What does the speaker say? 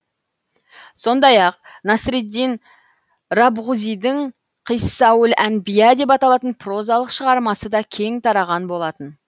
сондай ақ насреддин рабғузидің қиссауль әнбия деп аталатын прозалық шығармасы да кең тараған болатын